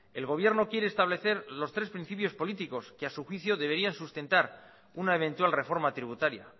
el gobierno quiere establecer los tres principios políticos que a su juicio deberían sustentar una eventual reforma tributaria